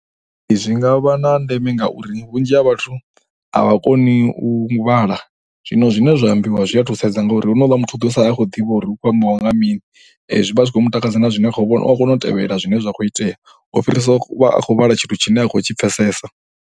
Zwi nga vha na ndeme ngauri vhunzhi ha vhathu a vha koni u vhala zwino zwine zwa ambiwa zwi a thusedza ngauri honouḽa muthu u ḓo sala a khou ḓivha uri hu khou ambiwa nga mini. Zwi vha zwi khou mu takadza na zwine a kho vhona, u a kona u tevhelela zwine zwa khou itea u fhirisa u vha khou vhala tshithu tshine a khou tshi pfhesesa.